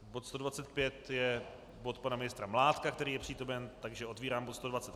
Bod 125 je bod pana ministra Mládka, který je přítomen, takže otevírám bod